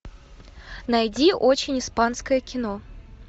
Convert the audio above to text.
найди очень испанское кино